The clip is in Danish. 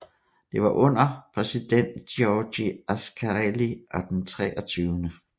Det var under præsident Giorgio Ascarelli og den 23